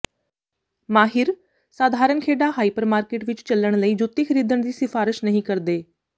ਮਾਹਿਰ ਸਾਧਾਰਨ ਖੇਡਾਂ ਹਾਈਪਰ ਮਾਰਕਿਟ ਵਿਚ ਚੱਲਣ ਲਈ ਜੁੱਤੀ ਖਰੀਦਣ ਦੀ ਸਿਫਾਰਸ਼ ਨਹੀਂ ਕਰਦੇ